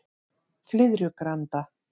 Flyðrugranda